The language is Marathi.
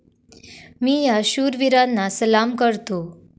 मी या शूर वीरांना सलाम करतो.